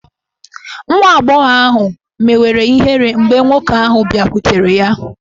Nwa agbọghọ ahụ mewere ihere mgbe nwoke ahụ bịakwutere ya.